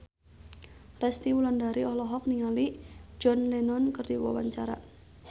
Resty Wulandari olohok ningali John Lennon keur diwawancara